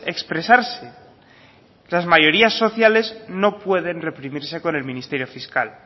expresarse las mayorías sociales no pueden reprimirse con el ministerio fiscal